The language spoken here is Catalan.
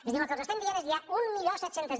és a dir el que els estem dient és hi ha mil set cents